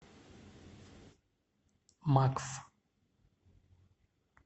макф